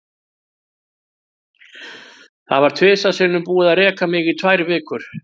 Það var tvisvar sinnum búið að reka mig í tvær vikur.